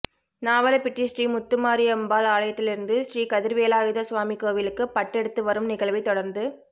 நாவலப்பிட்டி ஸ்ரீ முத்துமாரியம்பாள் ஆலயத்திலிருந்து ஸ்ரீ கதிர்வேலாயுத சுவாமி கோவிலுக்கு பட்டெடுத்து வரும் நிகழ்வை தொடர்ந்து